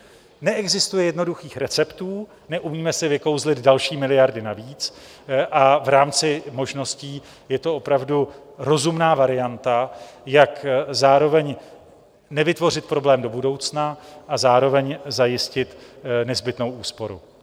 Neexistuje jednoduchých receptů, neumíme si vykouzlit další miliardy navíc a v rámci možností je to opravdu rozumná varianta, jak zároveň nevytvořit problém do budoucna a zároveň zajistit nezbytnou úsporu.